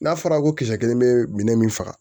N'a fɔra ko kisɛ kelen bɛ minɛ min faga